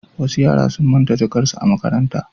Wasu yara sun manta jakarsu ta makaranta.